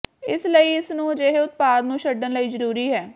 ਇਸ ਲਈ ਇਸ ਨੂੰ ਅਜਿਹੇ ਉਤਪਾਦ ਨੂੰ ਛੱਡਣ ਲਈ ਜ਼ਰੂਰੀ ਹੈ